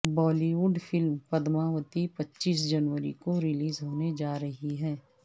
بالی would فلم پدماوتی پچیس جنوری کو ریلیز ہونے جا رہی ہے